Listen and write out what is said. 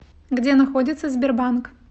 где находится сбербанк